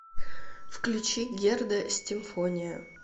включи герда стимфония